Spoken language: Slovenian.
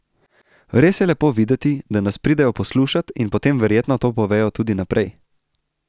Res je lepo videti, da nas pridejo poslušat in potem verjetno to povejo tudi naprej.